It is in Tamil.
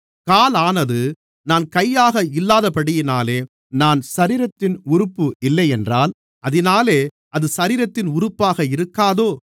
காலானது நான் கையாக இல்லாதபடியினாலே நான் சரீரத்தின் உறுப்பு இல்லையென்றால் அதினாலே அது சரீரத்தின் உறுப்பாக இருக்காதோ